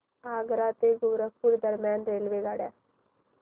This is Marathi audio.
आग्रा ते गोरखपुर दरम्यान रेल्वेगाड्या